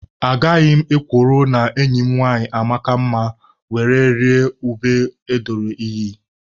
Agaghị m ekworo na enyi m nwanyị amaka mma were rịa ube edoro iyi.